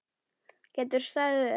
Geturðu staðið upp?